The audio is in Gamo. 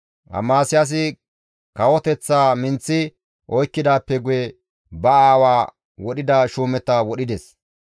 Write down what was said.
Amasiyaasi kawoteththaa minththi oykkidaappe guye ba aawaa wodhida shuumeta wodhides.